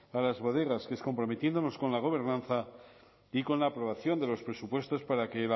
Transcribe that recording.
a las bodegas que es comprometiéndonos con la gobernanza y con la aprobación de los presupuestos para que el